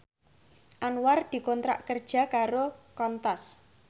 Anwar dikontrak kerja karo Qantas